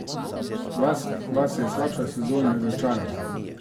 Vas je slabša sezona razočarala?